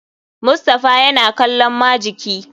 Mustapha yana kallon majiki.